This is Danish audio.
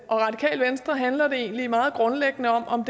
og radikale venstre handler det egentlig meget grundlæggende om